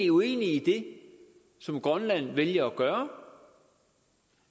uenig i det som grønland vælger at gøre